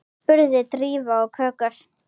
spurði Drífa og kökkur